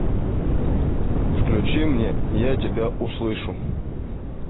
включи мне я тебя услышу